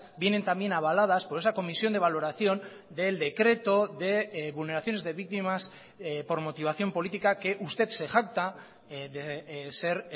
vienen también avaladas por esa comisión de valoración del decreto de vulneraciones de víctimas por motivación política que usted se jacta de ser